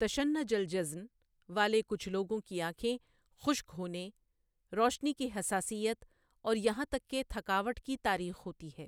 تشنّج الجضن والے کچھ لوگوں کی آنکھیں خشک ہونے، روشنی کی حساسیت اور یہاں تک کہ تھکاوٹ کی تاریخ ہوتی ہے۔